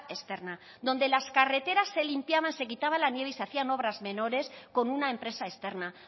externa donde las carreteras se limpiaban se quitaba la nieve y se hacían obras menores con una empresa externa